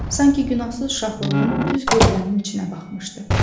Sanki günahsız uşaqlığının düz gözlərinin içinə baxmışdı.